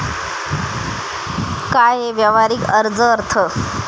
काय हे व्यावहारिक अर्ज अर्थ?